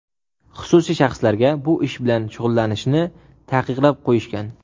xususiy shaxslarga bu ish bilan shug‘ullanishni taqiqlab qo‘yishgan.